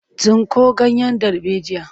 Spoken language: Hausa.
Tsinko ganyen darbejiyar!